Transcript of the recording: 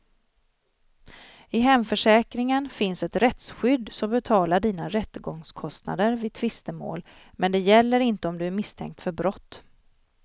I hemförsäkringen finns ett rättsskydd som betalar dina rättegångskostnader vid tvistemål, men det gäller inte om du är misstänkt för brott.